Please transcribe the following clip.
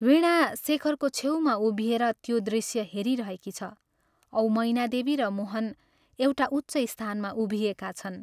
वीणा शेखरको छेउमा उभिएर त्यो दृश्य हेरिरहेकी छ औ मैनादेवी र मोहन एउटा उच्च स्थानमा उभिएका छन्।